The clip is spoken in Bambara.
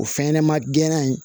O fɛn ɲɛnɛma gɛnna in